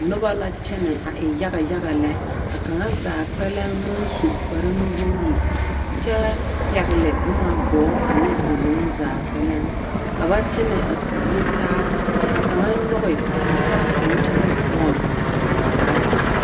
Noba la kyԑnԑ a e yaga yaga lԑ. ka kaŋa zaa kpԑlem maŋ su kpare nuwogiri kyԑ pԑgele boma, gͻͻ ane doloŋ zaa kpԑlem. Ka ba kyԑnԑ a tuuro taa, ka kaŋa nyͻge o tasoba nu poͻŋ a tagera.